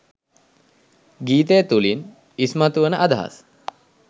ගීතය තුළින් ඉස්මතුවන අදහස්